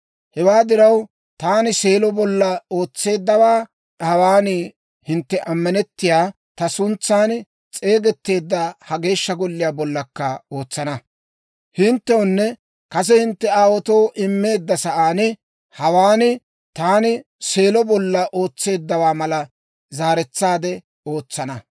Hewaa diraw, taani Seelo bolla ootseeddawaa, hawaan hintte ammanettiyaa, ta suntsan s'eegetteedda ha Geeshsha Golliyaa bollakka ootsana. Hinttewunne kase hintte aawaatoo immeedda sa'aan hawaan, taani Seelo bolla ootseeddawaa malaa zaaretsaade ootsana.